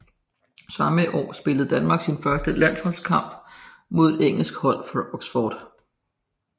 Samme år spillede Danmark sin første landskamp mod et engelsk hold fra Oxford